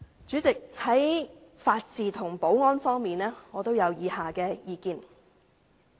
主席，在法治和保安方面，我有以下意見。